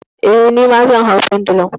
Eh, nima zan hau pendulum.